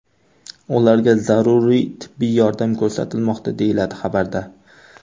Ularga zaruriy tibbiy yordam ko‘rsatilmoqda”, deyiladi xabarda.